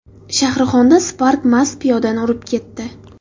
Shahrixonda Spark mast piyodani urib ketdi.